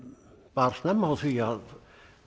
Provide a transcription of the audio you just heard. bar snemma á því að